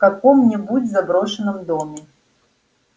в каком-нибудь заброшенном доме